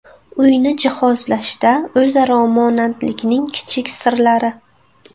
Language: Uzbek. Uyni jihozlashda o‘zaro monandlikning kichik sirlari.